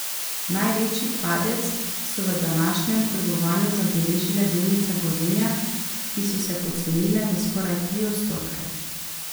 Največji padec so v današnjem trgovanju zabeležile delnice Gorenja, ki so se pocenile za skoraj tri odstotke.